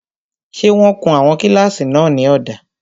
Ṣé wọ́n kun àwọn kílásì náà ní ọ̀dà?